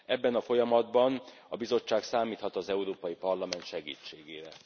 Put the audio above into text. Ebben a folyamatban a Bizottság számíthat az Európai Parlament segítségére.